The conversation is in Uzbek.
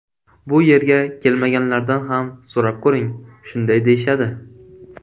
Bu yerga kelmaganlardan ham so‘rab ko‘ring, shunday deyishadi.